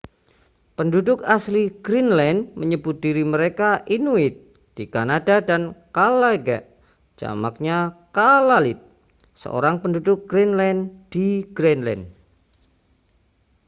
penduduk asli greenland menyebut diri mereka inuit di kanada dan kalaalleq jamaknya kalaallit seorang penduduk greenland di greenland